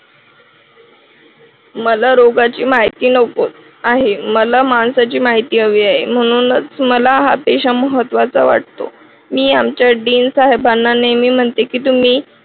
मला रोगाची माहिती नको आहे मला माणसाची माहिती हवी आहे म्हणूनच मला हा पेशा महत्त्वाचा वाटतो मी आमच्या dean साहेबांना नेहमी म्हणते की तुम्ही